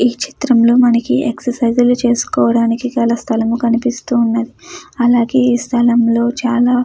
ఈ చిత్రం లో మనకు ఎక్సర్సైజులు చేసుకోవడానికి చాలా స్థలం కనిపిస్తున్నది అలాగే ఈ స్థలంలో చాల --